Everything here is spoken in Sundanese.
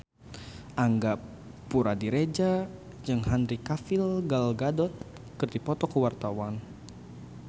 Angga Puradiredja jeung Henry Cavill Gal Gadot keur dipoto ku wartawan